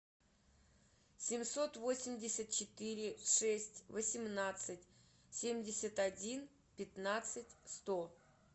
семьсот восемьдесят четыре шесть восемнадцать семьдесят один пятнадцать сто